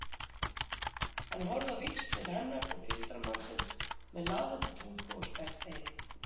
Hann horfði á víxl til hennar og fylgdarmannsins með lafandi tungu og sperrt eyru.